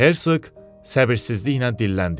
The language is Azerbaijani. Hersoq səbirsizliklə dilləndi: